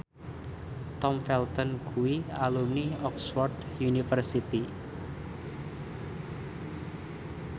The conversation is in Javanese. Tom Felton kuwi alumni Oxford university